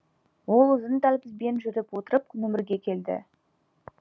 ол ұзын дәлізбен жүріп отырып нөмірге келді